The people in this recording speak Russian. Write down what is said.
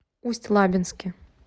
усть лабинске